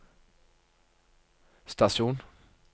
stasjon